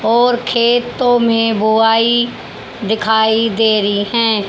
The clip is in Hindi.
और खेतों में बोआई दिखाई दे री हैं।